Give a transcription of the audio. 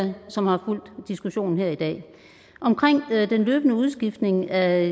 som har fulgt diskussionen her i dag omkring den løbende udskiftning af